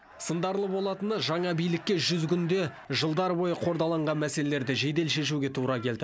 сындарлы болатыны жаңа билікке жүз күнде жылдар бойы қордаланған мәселелерді жедел шешуге тура келді